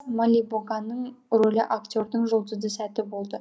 молибоганың рөлі актердің жұлдызды сәті болды